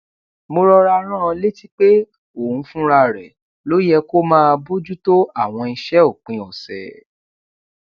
mo rọra rán an létí pé òun fúnra rè ló yẹ kó máa bójú tó àwọn iṣé òpin òsè